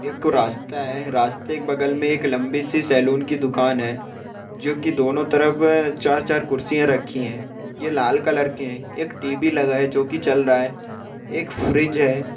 एक रास्ता है| रास्ते के बगल में एक लंबी-सी सैलून की दुकान है| जो के दोनों तरफ अ-चार-चार कुर्सियाँ रखी है| ये लाल कलर के है| एक टी_वी लगा है जो के चल रहा है| एक फ्रीज है।